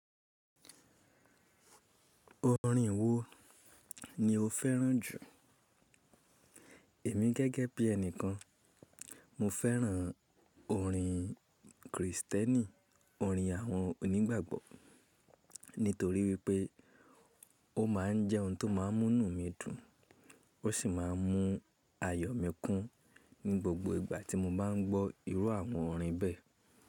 Orin wo ni o fẹ́ràn jù? Èmi gẹ́gẹ́ bí ẹni kan, mo fẹ́ràn orin Krìstẹ́nì, orin àwọn onígbàgbọ́ nítorí wípé ó máa ń jẹ́ ohun tó máa ń mú inú mi dùn ó sì máa ń mú ayọ̀ mi kún ní gbogbo ìgbà tí mo bá ń gbọ́ irú àwọn orin bẹ́ẹ̀.